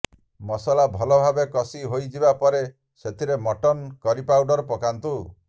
ମସଲା ଭଲ ଭାବରେ କଷି ହୋଇଯିବା ପରେ ସେଥିରେ ମଟନ କରି ପାଉଡର ପକାନ୍ତୁ